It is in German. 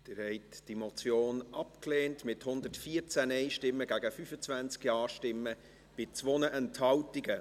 Sie haben diese Motion abgelehnt, mit 114 Nein- zu 25 Ja-Stimmen bei 2 Enthaltungen.